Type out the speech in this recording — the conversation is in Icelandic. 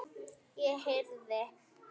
Ég heyrði.